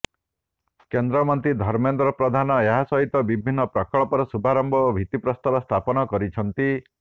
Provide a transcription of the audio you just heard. କେନ୍ଦ୍ରମନ୍ତ୍ରୀ ଧର୍ମେନ୍ଦ୍ର ପ୍ରଧାନ ଏହାସହିତ ବିଭିନ୍ନ ପ୍ରକଳ୍ପର ଶୁଭାରମ୍ଭ ଓ ଭିତ୍ତିପ୍ରସ୍ତର ସ୍ଥାପନ କରିଛନ୍ତି